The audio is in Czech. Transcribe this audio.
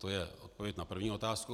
To je odpověď na první otázku.